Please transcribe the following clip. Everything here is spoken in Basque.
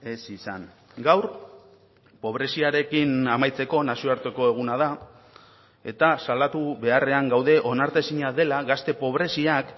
ez izan gaur pobreziarekin amaitzeko nazioarteko eguna da eta salatu beharrean gaude onartezina dela gazte pobreziak